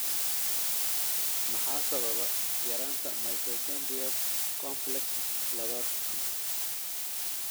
Maxaa sababa yaraanta mitochondrial complex labaad?